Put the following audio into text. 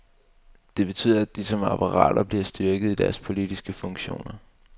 Det betyder, at de som apparater bliver styrket i deres politiske funktioner.